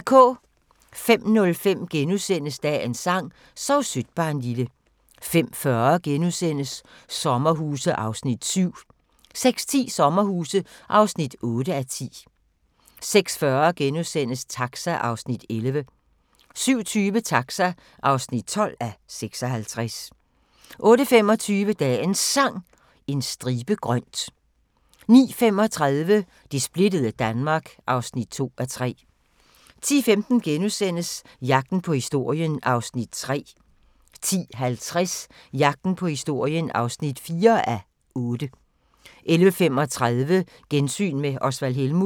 05:05: Dagens sang: Sov sødt barnlille * 05:40: Sommerhuse (7:10)* 06:10: Sommerhuse (8:10) 06:40: Taxa (11:56)* 07:20: Taxa (12:56) 08:25: Dagens Sang: En stribe grønt 09:35: Det splittede Danmark (2:3) 10:15: Jagten på historien (3:8)* 10:50: Jagten på historien (4:8) 11:35: Gensyn med Osvald Helmuth